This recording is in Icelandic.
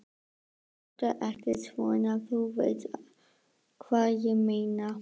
Láttu ekki svona. þú veist hvað ég meina.